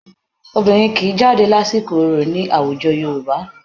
Obìnrin kì í jáde lásìkò orò ní àwùjo Yorùbá